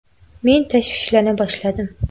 Men tashvishlana boshladim.